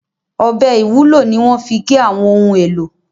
ọbẹ IwUlO ní wón fí gé àwọn ohùn èlò